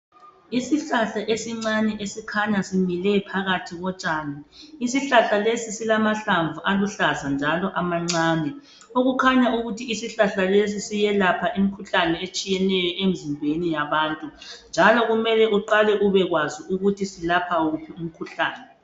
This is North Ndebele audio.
Isihlahla esincane esikhanya simile phakathi kotshani . Isihlahla lesi silamahlamvu aluhlaza njalo amancane. Okukhanya ukuthi isihlahla lesi siyelapha imikhuhlane etshiyeneyo emzimbeni yabantu . Njalo kumele uqale ubekwazi ukuthi silapha wuphi umkhuhlane.